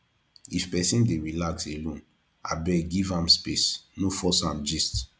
if pesin dey relax alone abeg give am space no force am gist